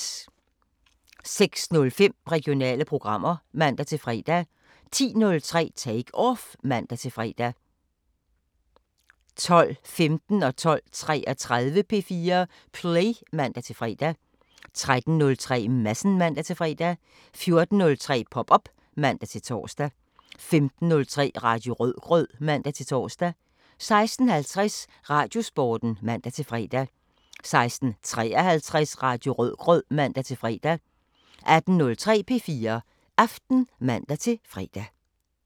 06:05: Regionale programmer (man-fre) 10:03: Take Off (man-fre) 12:15: P4 Play (man-fre) 12:33: P4 Play (man-fre) 13:03: Madsen (man-fre) 14:03: Pop op (man-tor) 15:03: Radio Rødgrød (man-tor) 16:50: Radiosporten (man-fre) 16:53: Radio Rødgrød (man-fre) 18:03: P4 Aften (man-fre)